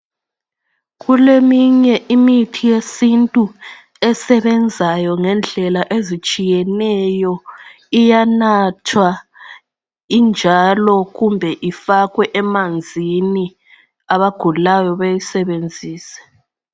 Kuleminye imithi yesintu esebenzayo ngendlela ezitshiyeneyo, iyanathwa injalo kumbe ifakwe emanzini abagulayo beyisebenzise.